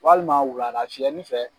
Walima wulada fiyɛni fɛ